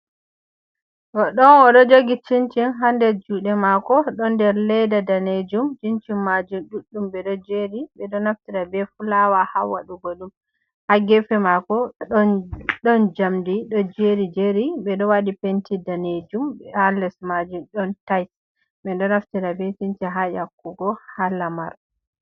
Goddo on o do jogi cincin hander jude mako do der ledda danejum cincin majum duddum be do jeri be do naftira be fulawa ha wadugo dum ,ha gefe mako don jamdi do jeri jeri be do wadi penti danejum b ha les majum don tait be do naftira be cinci ha yakkugo ha lamar.